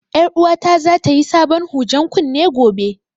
Ƴar uwata za ta yi sabon hujen kunne gobe